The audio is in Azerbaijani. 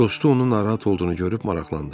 Dostu onun narahat olduğunu görüb maraqlandı.